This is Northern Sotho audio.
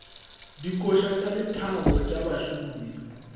dikoša tša lethabo tša bašomi